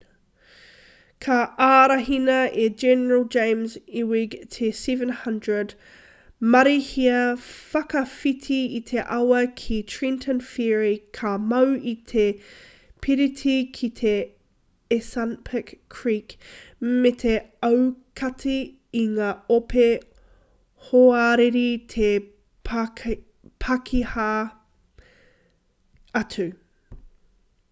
ka ārahina e general james ewing te 700 marīhia whakawhiti i te awa ki trenton ferry ka mau i te piriti ki te assunpink creek me te aukati i ngā ope hoariri i te pakiha atu